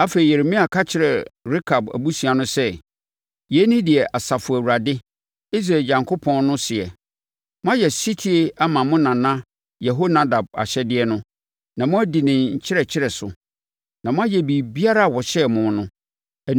Afei, Yeremia ka kyerɛɛ Rekab abusua no sɛ, “Yei ne deɛ Asafo Awurade, Israel Onyankopɔn no seɛ: ‘Moayɛ ɔsetie ama mo nana Yehonadab ahyɛdeɛ no, na moadi ne nkyerɛkyerɛ so, na moayɛ biribiara a ɔhyɛɛ mo no.’